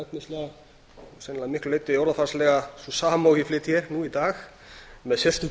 og efnislega sennilega að miklu geta orðafarslega sú sama og ég flyt hér nú í dag með sérstöku